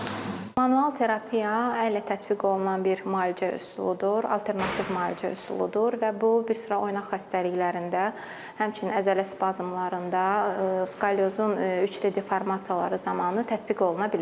Manual terapiya əllə tətbiq olunan bir müalicə üsuludur, alternativ müalicə üsuludur və bu bir sıra oynaq xəstəliklərində, həmçinin əzələ spazmlarında, skalyozun üç deformasiyaları zamanı tətbiq oluna bilir.